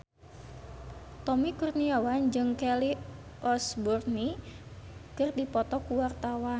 Tommy Kurniawan jeung Kelly Osbourne keur dipoto ku wartawan